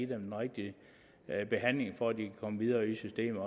den rigtige behandling for at de kan komme videre i systemet